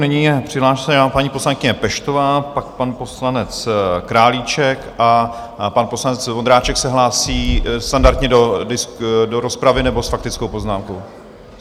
Nyní je přihlášena paní poslankyně Peštová, pak pan poslanec Králíček a pan poslanec Vondráček se hlásí standardně do rozpravy, nebo s faktickou poznámkou?